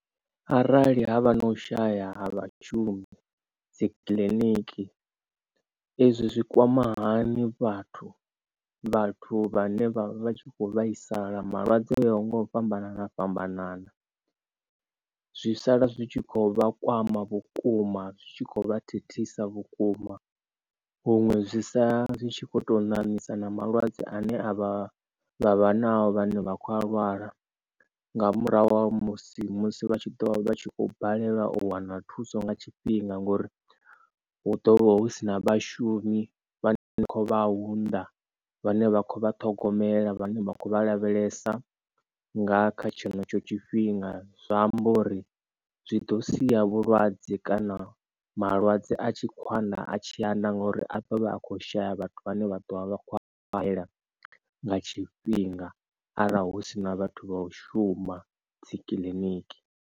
Arali havha na u shaya ha vhashumi dzi kiḽiniki ezwi zwikwama hani vhathu vhathu vhane vha vha tshi kho vhaisala malwadze uya nga u fhambanana fhambanana zwi sala zwi tshi kho vhakwama vhukuma zwitshi kho vha thithisa vhukuma huṅwe zwi sa zwitshi kho to ṋamisa na malwadze ane a vha vha vha nao vhane vha khou a lwala nga murahu ha musi, musi vha tshi ḓovha vhatshi kho balelwa u wana thuso nga tshifhinga. Ngori hu ḓovha hu si na vhashumi vhane vha khou vha huna vhane vha khovha ṱhogomela vhane vha khou vha lavhelesa nga kha tshenetsho tshifhinga. Zwa amba uri zwi ḓo sia vhulwadze kana malwadze a tshi kho ana a tshi ana ngori aḓo vha a khou shaya vhathu vhane vha ḓo vha vha khou a khakhela nga tshifhinga arali husina vhathu vha u shuma dzi kiḽiniki.